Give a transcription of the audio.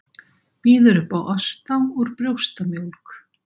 Býður upp á osta úr brjóstamjólk